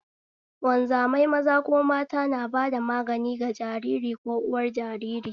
Wanzamai maza ko mata na bada magani ga jariri ko uwar jariri